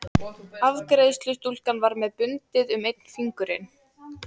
Afgreiðslustúlkan var með bundið um einn fingurinn.